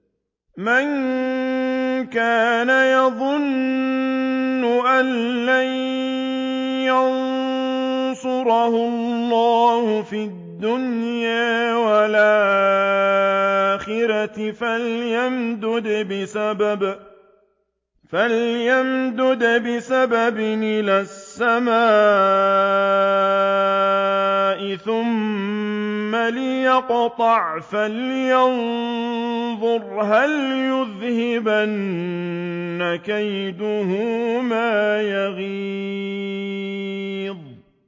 مَن كَانَ يَظُنُّ أَن لَّن يَنصُرَهُ اللَّهُ فِي الدُّنْيَا وَالْآخِرَةِ فَلْيَمْدُدْ بِسَبَبٍ إِلَى السَّمَاءِ ثُمَّ لْيَقْطَعْ فَلْيَنظُرْ هَلْ يُذْهِبَنَّ كَيْدُهُ مَا يَغِيظُ